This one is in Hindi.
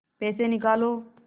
पैसे निकालो